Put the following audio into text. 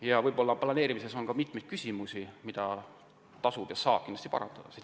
Ka raie planeerimisega seoses on mitmeid asjaolusid, mida tasub ja saab kindlasti parandada.